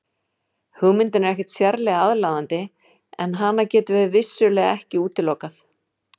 Hugmyndin er ekkert sérlega aðlaðandi en hana getum við vissulega ekki útilokað.